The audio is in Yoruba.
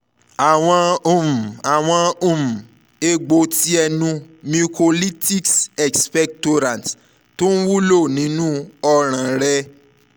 awọn um awọn um egbo ti ẹnu mucolytics expectorants tun wulo ninu ọran rẹ